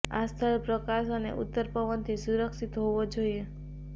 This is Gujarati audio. આ સ્થળ પ્રકાશ અને ઉત્તર પવનથી સુરક્ષિત હોવો જોઈએ